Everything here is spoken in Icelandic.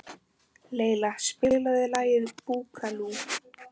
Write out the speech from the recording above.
Leila, spilaðu lagið „Búkalú“.